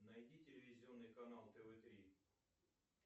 найди телевизионный канал тв три